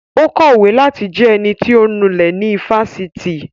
Ó kọ̀wé láti jẹ ẹnití ọ̀ ń nulẹ̀ ní ifásitì